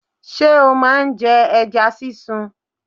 Ṣé o ma ń jẹ ẹja sísun?